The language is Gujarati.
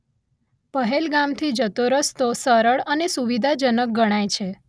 પહેલગામથી જતો રસ્તો સરળ અને સુવિધાજનક ગણાય છે